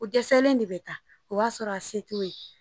O dɛsɛlen de bɛ taa o b'a sɔrɔ a se t'o ye